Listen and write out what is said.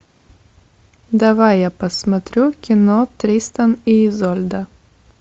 давай я посмотрю кино тристан и изольда